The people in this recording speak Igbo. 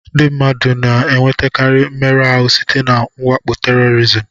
Ndị mmadụ na-enwetakarị mmerụ ahụ site na mwakpo tèrọrizim